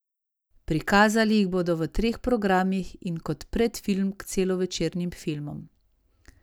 Prikazali jih bodo v treh programih in kot predfilm k celovečernim filmom.